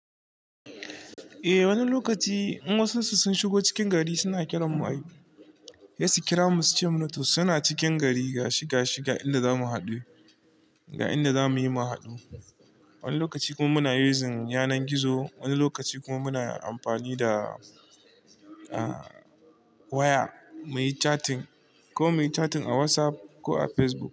Eh wani lokaci in wasun su sun shigo cikin gari suna kiran mu ai, sai su kira mu su ce mana to suna cikin gari ga shi ga shi ga inda za mu haɗu, ga inda za mu yi mu haɗu. Wani lokaci kuma muna using yanan gizo, wani lokaci kuma muna amfani da, ah waya muyi chatting ko muyi chatting a WhatsApp ko a Facebook.